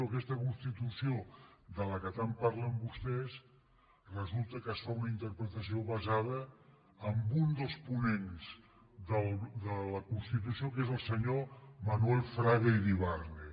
d’aquesta constitució de què tant parlen vostès resulta que se’n fa una interpretació basada en un dels ponents de la constitució que és el senyor manuel fraga iribarne